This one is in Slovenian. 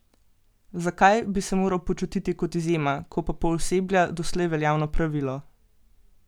Zakaj bi se moral počutiti kot izjema, ko pa pooseblja doslej veljavno pravilo?